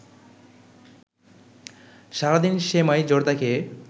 সারাদিন সেমাই জর্দা খেয়ে